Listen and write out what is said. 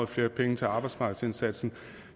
flere penge til arbejdsmarkedsindsatsen